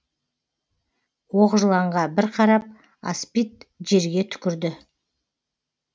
оқжыланға бір қарап аспид жерге түкірді